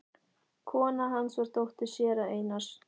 Kona hans var dóttir séra Einars